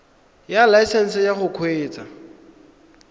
ya laesesnse ya go kgweetsa